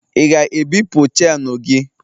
ị ga-ebipụ chenu gị?